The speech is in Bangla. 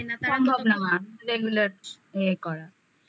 সম্ভব না regulate ইয়ে করা